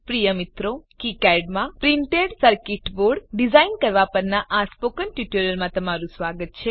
પ્રિય મિત્રો કિકાડ માં પ્રિન્ટેડ સર્કીટ બોર્ડ ડીઝાઇન કરવા પરનાં સ્પોકન ટ્યુ્ટોરીયલમાં સ્વાગત છે